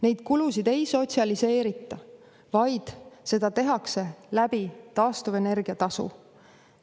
Neid kulusid ei sotsialiseerita, vaid seda tehakse taastuvenergia tasu kasutades.